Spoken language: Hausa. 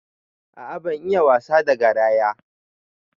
A'a ban iya wasa da garaya.